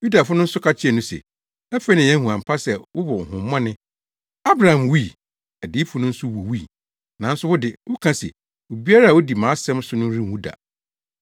Yudafo no nso ka kyerɛɛ no se, “Afei na yɛahu ampa sɛ wowɔ honhommɔne! Abraham wui. Adiyifo no nso wuwui. Nanso wo de, woka se, ‘Obiara a odi mʼasɛm so no renwu da.’